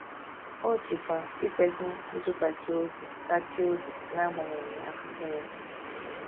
O jikwa ikwesị ntụkwasị obi tachie obi n’agbanyeghị afụfụ ya.